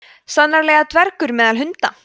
sannarlega dvergur meðal hunda